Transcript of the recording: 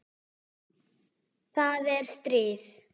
Það er stríð.